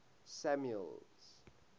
samuel's